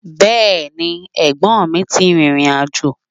Bẹ́ẹ̀ni, ẹ̀gbọ́nmi ti rìrìn àjò.